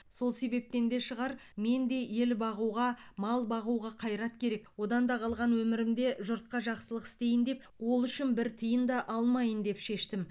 сол себептен де шығар мен де ел бағуға мал бағуға қайрат керек одан да қалған өмірімде жұртқа жақсылық істейін деп ол үшін бір тиын да алмайын деп шештім